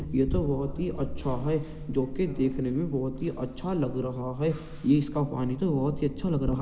ये तो बहोत ही अच्छा है जो कि देखने में बहोत ही अच्छा लग रहा है। ये इसका पानी तो बहोत ही अच्छा लग रहा --